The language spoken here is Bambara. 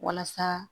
Walasa